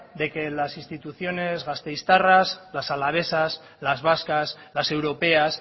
de que las instituciones gasteiztarras las alavesas las vascas las europeas